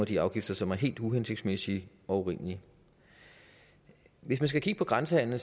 de afgifter som er helt uhensigtsmæssige og urimelige hvis man skal kigge på grænsehandelen